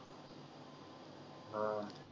हा